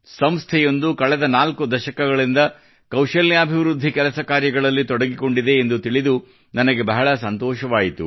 ಸಂಸ್ಥೆಯೊಂದು ಕಳೆದ ನಾಲ್ಕು ದಶಕಗಳಿಂದ ಕೌಶಲ್ಯಾಭಿವೃದ್ಧಿ ಕೆಲಸ ಕಾರ್ಯಗಳಲ್ಲಿ ತೊಡಗಿಕೊಂಡಿದೆ ಎಂದು ತಿಳಿದು ನನಗೆ ಬಹಳ ಸಂತೋಷವಾಯಿತು